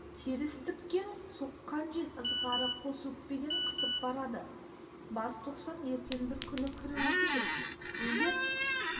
терістіктен соққан жел ызғары қос өкпеден қысып барады бас тоқсан ертең бір күн кіруі керек егер